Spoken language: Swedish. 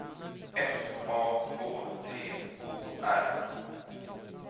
F A K T O R